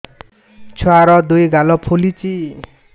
ଛୁଆର୍ ଦୁଇ ଗାଲ ଫୁଲିଚି